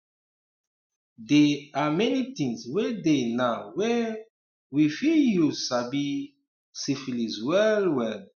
they are many things were dey now were um we fit use sabi um syphilis well well